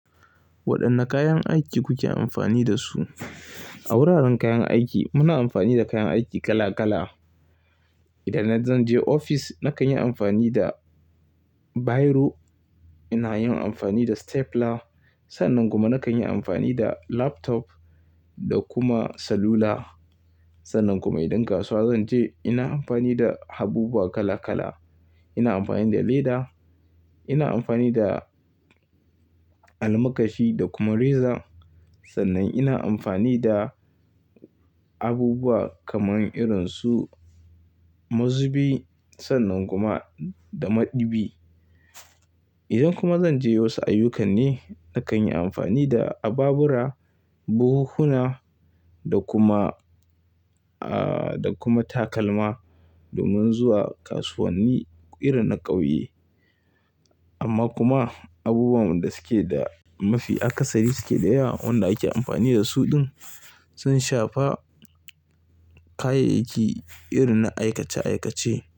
Waɗanne kayan aiki kuke amfani da su? A wuraren kayan aiki muna amfani da kayan aiki kala kala. Idan zan je ofis, nakan yi amfani da biro, ina yin amfani da stapler, sannan kuma nakan yi amfani da laptop da kuma salula. Sannan kuma idan kasuwa zan je ina amfani da abubuwa kala kala. Ina amfani da leda, ina amfani da almakashi da kuma reza. Sannan ina amfani da abubuwa kamar irin su mazubi sannan kuma da maɗubi. Idan kuma zan je wasu ayyukan ne, nakan yi amfani da ababura, buhuhuna da kuma, ah, da kuma takalma domin zuwa kasuwanni irin na ƙauye. Amma kuma abubuwan da suke da mafi akasari suke da yawa, waɗanda ake amfani da su ɗin sun shafa kayayyaki irin na aikace aikace.